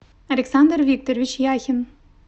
александр викторович яхин